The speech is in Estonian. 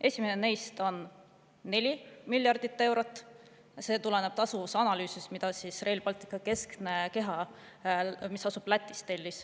Esimene neist on 4 miljardit eurot, see tuleneb tasuvusanalüüsist, mille tellis Rail Balticu keskne keha, mis asub Lätis.